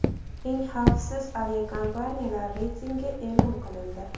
Eng xavfsiz aviakompaniyalar reytingi e’lon qilindi.